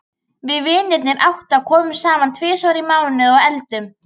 Við vinirnir átta komum saman tvisvar í mánuði og eldum.